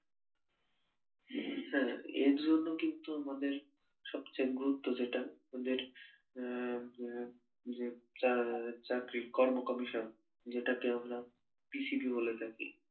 হ্যা এর জন্য কিন্তু আমাদের সবচেয়ে গুরুত্ব যেটা আমাদের উম উম যে যে চা উম চাকরির কর্ম কমিশন যেটাকে আমরা P C D বলে থাকি